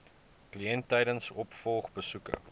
kliënt tydens opvolgbesoeke